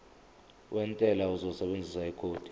wentela uzosebenzisa ikhodi